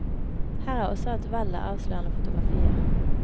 Her er også et vell av avslørende fotografier.